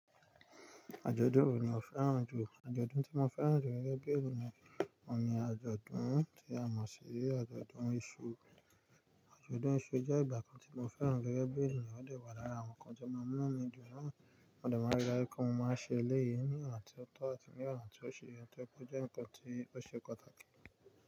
Àjọ̀dún wo ni o fẹ́ràn jù? Àjọ̀dún tí mo fẹ́ràn jù gẹ́gẹ́ bí ènìyàn, òun ni àjọ̀dún tí a mọ̀ sí àjọ̀dún iṣu. Àjọ̀dún iṣu jẹ́ ìgbà kan tí mo fẹ́ràn gẹ́gẹ́ bí ènìyàn, ó dè wà lára àwọn nǹkan tí ó máa mú inú mi dùn ná. Mo dè maa ń like kí n máa ṣe elẹ́yì ní ìgbà tí ó tọ́ àti ní ọ̀nà tí ó ṣì yẹ, tí ó jẹ́ wípé ó jẹ́ nǹkan tí ó ṣe pàtàkì.